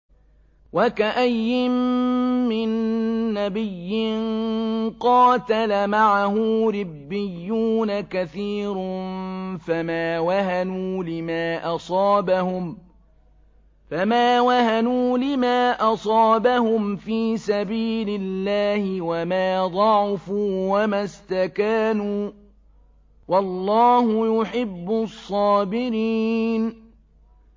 وَكَأَيِّن مِّن نَّبِيٍّ قَاتَلَ مَعَهُ رِبِّيُّونَ كَثِيرٌ فَمَا وَهَنُوا لِمَا أَصَابَهُمْ فِي سَبِيلِ اللَّهِ وَمَا ضَعُفُوا وَمَا اسْتَكَانُوا ۗ وَاللَّهُ يُحِبُّ الصَّابِرِينَ